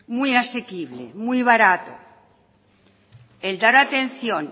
muy asequible muy barato el dar atención